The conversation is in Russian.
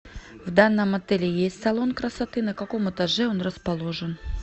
в данном отеле есть салон красоты на каком этаже он расположен